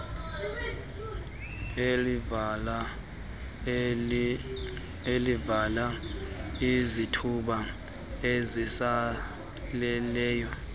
elivala izithuba ezisaleleyo